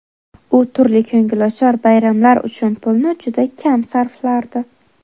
U turli ko‘ngilochar bayramlar uchun pulni juda kam sarflardi.